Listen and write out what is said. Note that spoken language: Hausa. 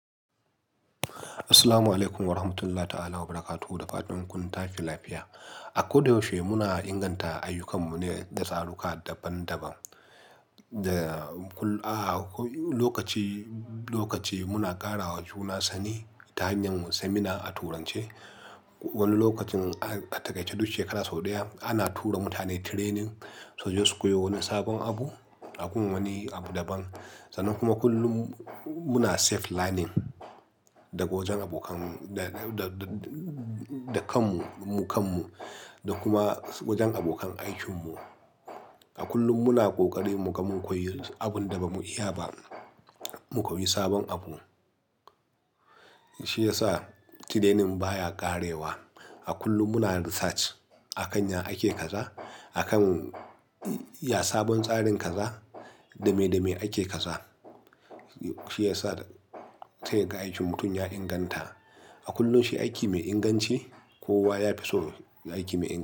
Assalamu alaikum wa rahmatullah ta'ala wa barakatuhu da fatan kun tashi lafiya A ko da yaushe muna inganta ayyukan mu ne da tsaruka daban-daban Da kull-- ah, lokaci, lokaci, muna ƙarawa juna sani ta hanyan seminar a turance. Wani lokacin a, a taƙaice duk shekara sau ɗaya, ana tura mutane training, suje su koyo wani sabon abu, a gun wani abu daban. Sannan kuma kullum muna self learning, daga wajen abokan da, da, da, da kanmu, mu kanmu da kuma wajen abokan aikinmu. A kullum muna ƙoƙari mu ga mun koyi abun da ba mu iya ba, mu koyi sabon abu. Shi ya sa training baya ƙarewa A kullum muna research, a kan ya ake kaza?, a kan ya sabon tsarin kaza?, dame, dame ake kaza? Shi ya sa, sai kaga aikin mutum ya inganta. A kullum shi aiki mai inganci kowa ya fi so aiki mai inganci.